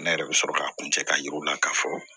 Ne yɛrɛ bɛ sɔrɔ k'a kun cɛ k'a yira u la ka fɔ